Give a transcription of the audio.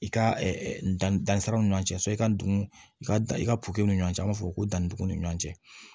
I ka dan siraw ni ɲɔgɔn cɛ so i ka dugu i ka dan i ka ni ɲɔgɔn cɛ an b'a fɔ ko danduguw ni ɲɔgɔn cɛ